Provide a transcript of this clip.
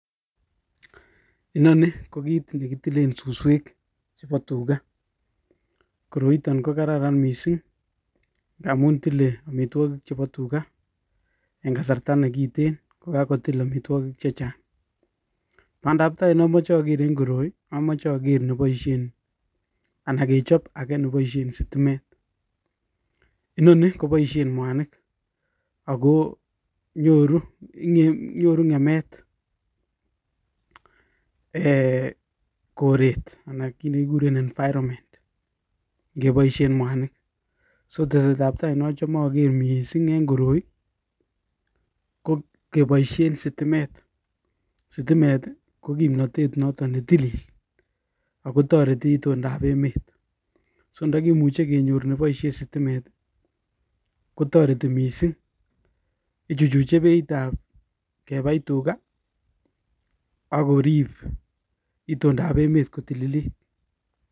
Nii ko kit nekitilen Suswe Chebo tuga koroito ko kararan mising amun tilei omitwokik chebo tuga eng kasarta nekitikin ko kakotil omitwokik chechang badabtai namoche ager eng koroi amoche ager Neboishen sitimet noni koboishen mwanik Ako nyoru ngemet koret ngeboishen mwanik teset ab tai nachome ager mising eng koroi ko keboishen sitimet, sitimet ko kimnatet noto ne till Ako torei itundaab emet ndakimuche kenyor Neboishen sitimet kotoreti mising ichuchuchi beit ab kebai tuga akorip itundaab emet kotililit